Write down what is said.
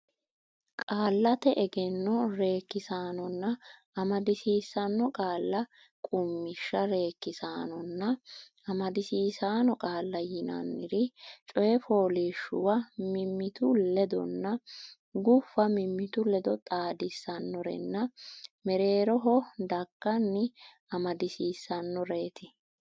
Qaallate Egenno Reekkisaanonna Amadisiisaano Qaalla Qummishsha Reekkisaanonna amadisiisaano qaalla yinanniri coy fooliishshuwa mimmitu ledonna guffa mimmitu ledo xaadissannorenna mereeroho dagganni amadisiissannoreeti.